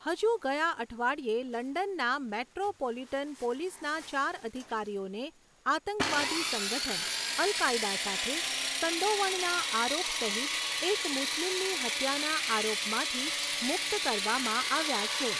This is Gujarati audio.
હજુ ગયા અઠવાડિયે, લંડનના મેટ્રોપોલિટન પોલીસના ચાર અધિકારીઓને આતંકવાદી સંગઠન અલ કાયદા સાથે સંડોવણના આરોપસહીત એક મુસ્લિમની હત્યાના આરોપમાંથી મુક્ત કરવામાં આવ્યા છે.